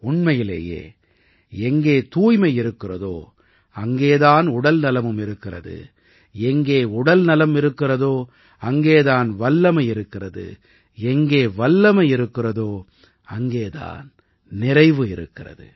உண்மையிலேயே எங்கே தூய்மை இருக்கிறதோ அங்கே தான் உடல்நலமும் இருக்கிறது எங்கே உடல் நலம் இருக்கிறதோ அங்கே தான் வல்லமை இருக்கிறது எங்கே வல்லமை இருக்கிறதோ அங்கே தான் நிறைவு இருக்கிறது